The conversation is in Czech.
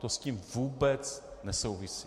To s tím vůbec nesouvisí.